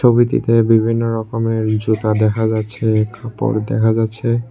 ছবিটিতে বিভিন্ন রকমের জুতা দেখা যাচ্ছে কাপড় দেখা যাচ্ছে।